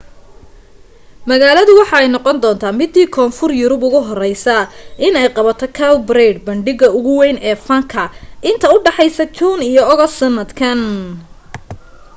magalada waxa ay noqon doonta midii koonfur bari yurub ugu horeyse in ay qabato cowparade bandhiga ugu weyn ee fanka inta udhaxeysa june iyo august sanadkan